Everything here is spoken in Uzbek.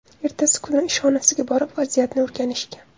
Ertasi kuni ishxonasiga borib vaziyatni o‘rganishgan.